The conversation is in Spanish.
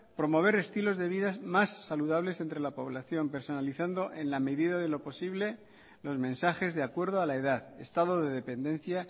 promover estilos de vidas más saludables entre la población personalizando en la medida de lo posible los mensajes de acuerdo a la edad estado de dependencia